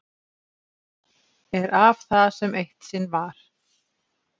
Er af það sem eitt sinn var.